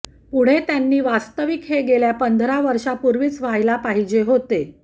पुढे त्यांनी वास्तविक हे गेल्या पंधरा वर्षापुर्वीच व्हायला पाहिजे होते